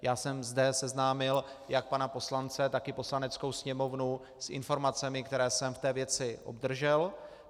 Já jsem zde seznámil jak pana poslance, tak i Poslaneckou sněmovnu s informacemi, které jsem v té věci obdržel.